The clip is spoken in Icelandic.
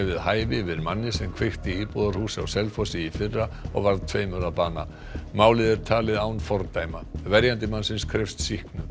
við hæfi yfir manni sem kveikti í íbúðarhúsi á Selfossi í fyrra og varð tveimur að bana málið er talið án fordæma verjandi mannsins krefst sýknu